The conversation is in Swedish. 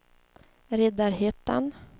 Riddarhyttan